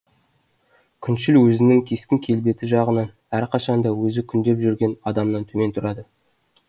күншіл өзінің кескін келбеті жағынан әрқашан да өзі күндеп жүрген адамнан төмен тұрады